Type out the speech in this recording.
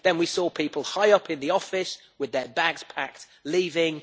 Then, we saw people high up in the office with their bags packed leaving.